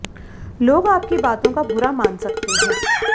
लोग आपकी बातों का बुरा मान सकते हैं